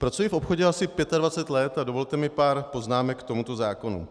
Pracuji v obchodě asi 25 let a dovolte mi pár poznámek k tomuto zákonu.